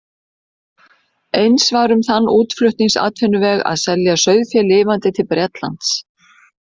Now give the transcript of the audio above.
Eins var um þann útflutningsatvinnuveg að selja sauðfé lifandi til Bretlands.